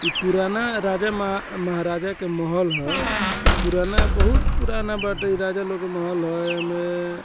इ पुराना राजा मह महाराजा के महल ह इ पुराना बहुत पुराना बाटे इ राजा लोग के महल ह एमए --